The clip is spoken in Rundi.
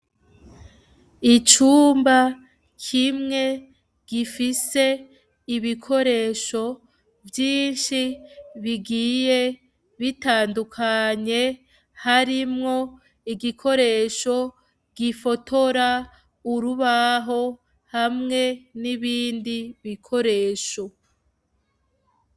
Icumba kimwe gifise ibikoresho vyinshi bigiye bitandukanye, harimwo igikoresho gifotora urubaho hamwe n'ibindi bikoresho.